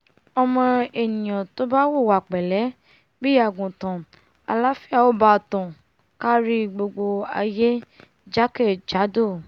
ọmọ ènìà ò bá hùwà pẹ̀lé bí àgùntàn àláfíà ò bá tàn kárí gbogbo aiyé jákè jádò